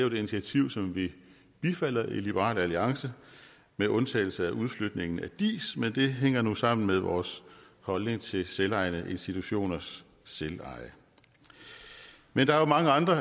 et initiativ som vi bifalder i liberal alliance med undtagelse af udflytningen af diis men det hænger nu sammen med vores holdning til selvejende institutioners selveje men der er mange andre